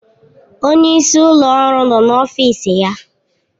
Onye isi ụlọ ọrụ nọ n'ọfịs ya.